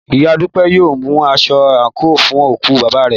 Ìyá Dúpẹ́ yóò mú aṣọ àǹkóò fún òkú bàbá rẹ̀